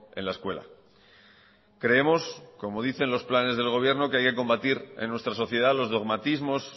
en la escuela creemos como dicen los planes del gobierno que hay que combatir en nuestra sociedad los dogmatismos